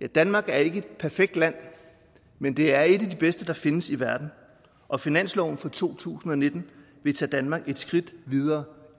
ja danmark er ikke et perfekt land men det er et af de bedste der findes i verden og finansloven for to tusind og nitten vil tage danmark et skridt videre